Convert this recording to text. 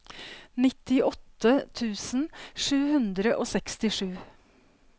nittiåtte tusen sju hundre og sekstisju